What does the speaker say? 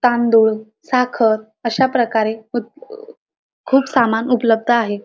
तांदूळ साखर अश्या प्रकारे खु खूप सामान उपलब्ध आहे.